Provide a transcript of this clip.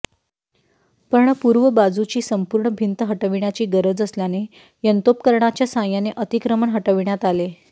पण पूर्व बाजूची संपूर्ण भिंत हटविण्याची गरज असल्याने यंत्रोपकरणांच्या साहाय्याने अतिक्रमण हटविण्यात आले